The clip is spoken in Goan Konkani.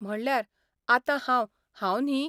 म्हणल्यार आतां हांव 'हांव 'न्ही?